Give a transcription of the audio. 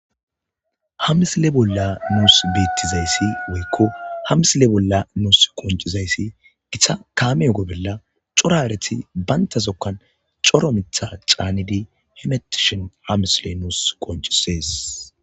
Ha misile bolla nuusi beetiza issi woyko ha misile bolla nuusi qoncciza issi, gita kaamiya bolla cora hareta banta zokkan cora mitha caanidi, hemetishen ha misile nuusi qonccisees.